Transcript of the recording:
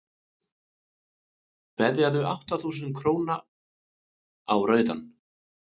veðjaðu átta þúsund króna á rauðan